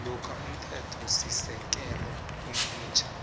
lokha umthethosisekelo omutjha